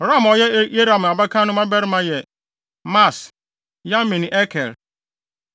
Ram a ɔyɛ Yerahmeel abakan no mmabarima yɛ Maas, Yamin ne Eker.